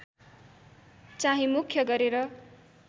चाहिँ मुख्य गरेर